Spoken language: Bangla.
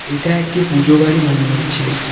এটা একটি পুজো বাড়ি মনে হচ্ছে।